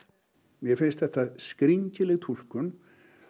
mér finnst þetta skringileg túlkun